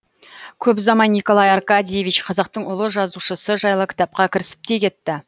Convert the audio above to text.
көп ұзамай николай аркадьевич қазақтың ұлы жазушысы жайлы кітапқа кірісіп те кетті